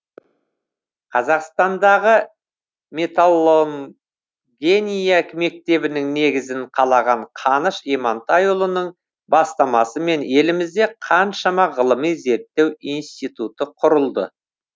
қазақстандағы металлогения мектебінің негізін қалаған қаныш имантайұлының бастамасымен елімізде қаншама ғылыми зерттеу институты құрылды